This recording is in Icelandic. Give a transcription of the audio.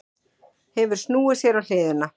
Hefur snúið sér á hliðina.